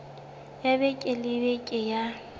ya beke le beke ya